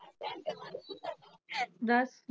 ਦੱਸ?